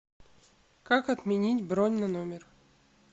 как отменить бронь на номер